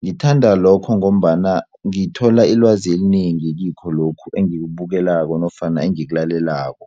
ngithanda lokho ngombana ngithola ilwazi elinengi kikho lokhu engikubukelako nofana engikulalelako.